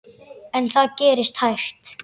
En það gerist hægt.